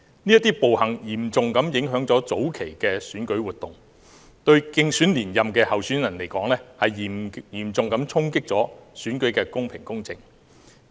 這些暴行嚴重影響了早期的選舉活動，對競選連任的候選人而言，嚴重衝擊了選舉的公平公正。